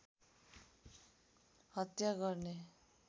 हत्या गर्ने